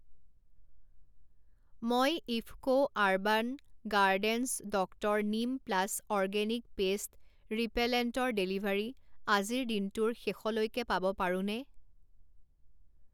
মই IFFCO urban gardens doctor neem plus organic pest ৰিপেলেণ্টৰ delivery আজিৰ দিনটোৰ শেষলৈকে পাব পাৰোঁনে?